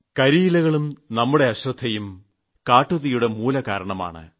കരിയിലകളും നമ്മുടെ അശ്രദ്ധയും കാട്ടുതീയുടെ മൂലകാരണങ്ങളാണ്